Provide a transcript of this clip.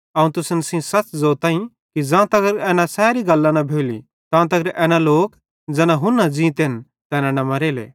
अवं तुसन सेइं सच़ ज़ोतईं कि ज़ां तगर एना सैरी गल्लां न भोली तां तगर एना लोक ज़ैना हुन्ना ज़ीतेन तैना न मरेले